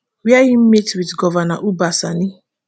wia im meet wit govnor uba sani